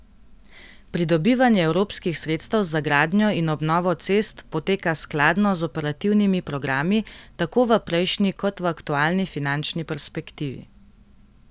Pridobivanje evropskih sredstev za gradnjo in obnovo cest poteka skladno z operativnimi programi, tako v prejšnji, kot v aktualni finančni perspektivi.